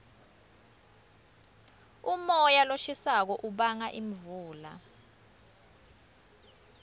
umoya loshisako ubanga imvula